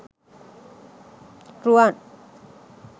ruwan